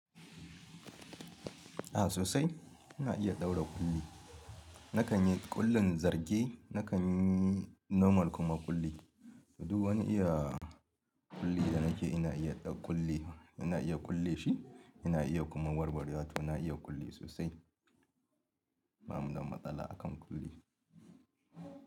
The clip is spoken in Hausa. A sosai, ina iya ɗaura ƙulli. Nakan yi ƙullin zarge, nakan yi normal kuma ƙulli. Duk wani iya ƙulli da nake ina iya ɗau ƙulli, ina iya ƙulle shi ina iya kuma warware. A to na iya ƙulli sosai. Ba mu da matsala a kan ƙulli.